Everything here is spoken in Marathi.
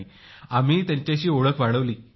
नाही मी त्यांच्याशी ओळख वाढवली